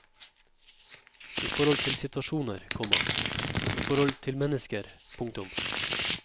I forhold til situasjoner, komma i forhold til mennesker. punktum